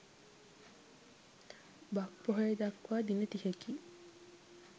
බක් පොහොය දක්වා දින තිහකි.